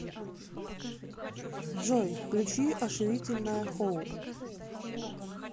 джой включи ошуительное хоу